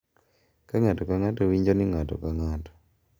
Ka ng’ato ka ng’ato winjo ni ng’ato ka ng’ato,